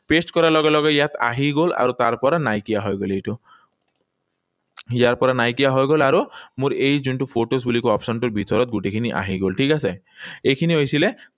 Press কৰাৰ লগে লগে ইয়াত আহি গল আৰু তাৰ পৰা নাইকিয়া হৈ গল এইটো। ইয়াৰ পৰা নাইকিয়া হৈ গল আৰু মোৰ এই যোটো photos বুলি কোৱা option টোৰ ভিতৰত গোটেইখিনি আহি গল। ঠিক আছে? এইখিনি হৈছিলে